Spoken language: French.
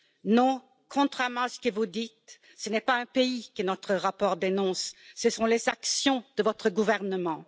Non, contrairement à ce que vous dites, ce n'est pas un pays que notre rapport dénonce, ce sont les actions de votre gouvernement.